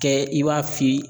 Kɛ i b'a fili